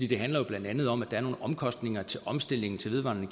det handler blandt andet om at der er nogle omkostninger til omstillingen til vedvarende